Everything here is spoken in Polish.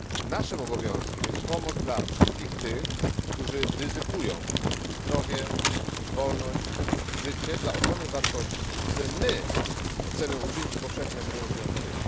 Naszym obowiązkiem jest pomoc dla wszystkich tych, którzy ryzykują zdrowie, wolność, życie dla ochrony wartości, które my chcemy uczynić powszechnie obowiązującymi.